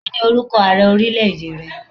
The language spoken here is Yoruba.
Kí ni orúkọ Ààrẹ ọrílẹ̀ èdè rẹ?